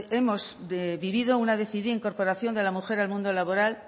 decidida incorporación de la mujer al mundo laboral